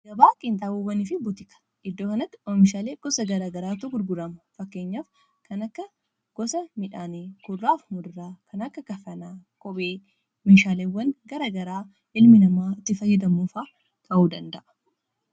Gabaa qiinxaaboowwaniifi butika iddoo kanatti oomishaalee gosa garaagaraatu gurgurama fakkeenyaaf kan akka gosa midhaanii kudurraaf muduraa kan akka kafanaa kophee meeshaaleewwan garaa garaa ilmi namaa itti fayyadamuufaa ta'uu danda'a.